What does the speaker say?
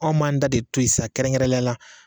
Anw m'an ta de toyi sa kɛrɛnkɛrɛnnenya la.